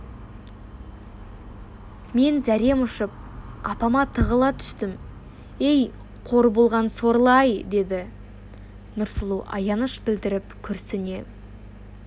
мен зәрем ұшып апама тығыла түстім ей қор болған сорлы-ай деді нұрсұлу аяныш білдіріп күрсіне